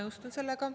Ma nõustun sellega.